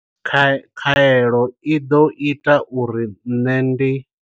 Khaelo i ḓo ita uri nṋe ndi.